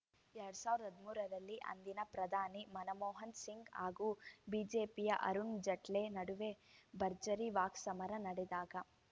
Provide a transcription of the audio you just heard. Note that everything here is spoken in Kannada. ಎರಡ್ ಸಾವಿರದ ಹದಿಮೂರರಲ್ಲಿ ಅಂದಿನ ಪ್ರಧಾನಿ ಮನಮೋಹನ ಸಿಂಗ್‌ ಹಾಗೂ ಬಿಜೆಪಿಯ ಅರುಣ್‌ ಜೆಟ್ಲೇ ನಡುವೆ ಭರ್ಜರಿ ವಾಕ್ಸಮರ ನಡೆದಾಗ